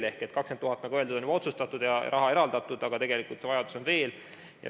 20 000, nagu öeldud, on juba otsustatud ja raha eraldatud, aga tegelikult on vaja veel.